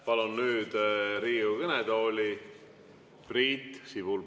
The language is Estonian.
Palun nüüd Riigikogu kõnetooli Priit Sibula.